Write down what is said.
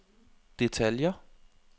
detaljer